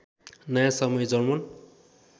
नयाँ समय जर्मन